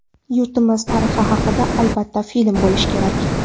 Yurtimiz tarixi haqida albatta film bo‘lishi kerak.